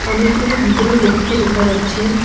অনেকগুলি ভিতরে লোককে দেখা যাচ্ছে।